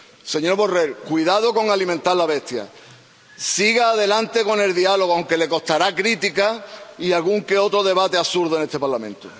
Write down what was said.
Señor Borrell, cuidado con alimentar la bestia, siga adelante con el diálogo, aunque le costará críticas y algún que otro debate absurdo en este Parlamento.